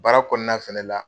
Baara kɔnɔnana fɛnɛ la